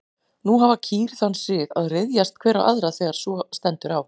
Nú hafa kýr þann sið að ryðjast hver á aðra þegar svo stendur á.